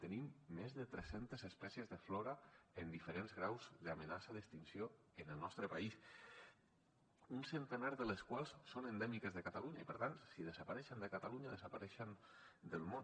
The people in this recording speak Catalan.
tenim més de tres centes espècies de flora en diferents graus d’amenaça d’extinció en el nostre país un centenar de les quals són endèmiques de catalunya i per tant si desapareixen de catalunya desapareixen del món